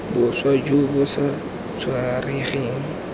boswa jo bo sa tshwaregeng